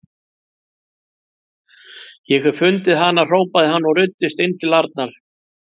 Ég hef fundið hana! hrópaði hann og ruddist inn til Arnar.